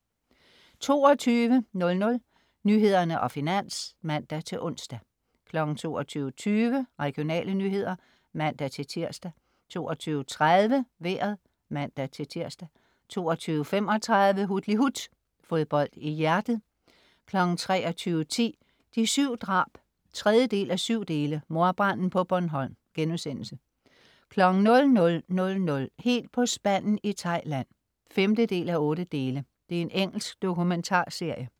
22.00 Nyhederne og Finans (man-ons) 22.20 Regionale nyheder (man-tirs) 22.30 Vejret (man-tirs) 22.35 Hutlihut. Fodbold i hjertet 23.10 De 7 drab 3:7 mordbranden på Bornholm* 00.00 Helt på spanden i Thailand 5:8. Engelsk dokumentarserie